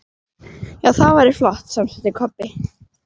Já, það væri flott, samsinnti Kobbi.